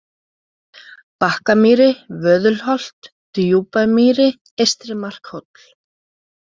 Bakkamýri, Vöðulholt, Djúpamýri, Eystri-Markhóll